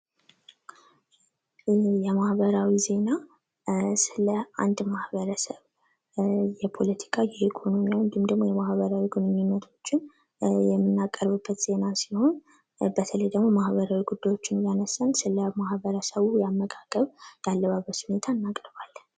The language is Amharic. የማህበራዊ ዜና ስለ አንድ ማህበረሰብ እንድሁም የፖለቲካ ፣የኢኮኖሚ ደግሞ የማህበራዊ ግንኙነቶችን የምናቀርብበት ዜና ሲሆን በተለይ ደግሞ ማህበራዊ ጉዳዮችን እያነሳን ስለማህበረሰቡ የአመጋገብ፣ የአለባበስ ሁኔታ እናቀርባለን።